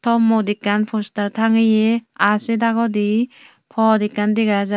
tomot ekan poster tangeye aah sey dagodi poth ekan dega jai.